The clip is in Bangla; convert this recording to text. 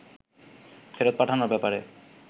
ফেরত পাঠানোর ব্যাপারে